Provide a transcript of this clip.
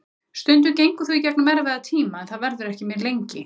Stundum gengur þú í gegnum erfiða tíma en það verður ekki mjög lengi.